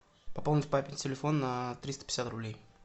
пополнить папин телефон на триста пятьдесят рублей